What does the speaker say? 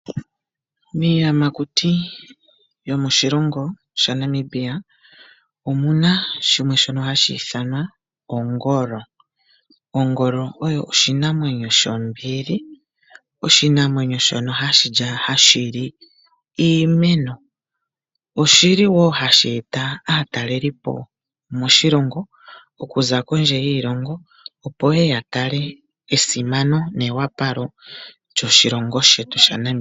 Miiyamakuti yomoshilongo shaNamibia omu na shimwe shono hashi ithanwa ongolo. Ongolo oyo oshinamwenyo shombili oshinamwenyo shono hashi li iimeno. Oshili wo hashi eta aatalelipo moshilongo okuza kondje yiilongo opo yeye yatale esimano newapalo lyoshilongo shetu shaNamibia.